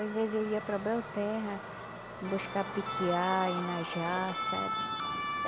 Às vezes eu ia para Belterra, buscar piquiá, inajá, sabe?